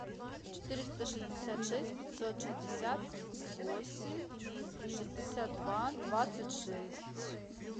четыреста шестьдесят шесть пятьсот шестьдесят восемь шестьдесят два двадцать шесть